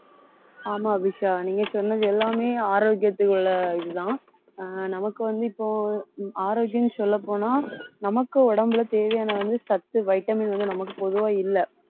ஆமா அபிஷா நீங்க சொன்னது எல்லாமே ஆரோக்கியத்துக்கு உள்ள இதுதான் ஆஹ் நமக்கு வந்து இப்போ ஆரோக்கியம் சொல்லப் போனா நமக்கு உடம்புல தேவையான வந்து சத்து vitamin வந்து நமக்கு பொதுவா இல்லை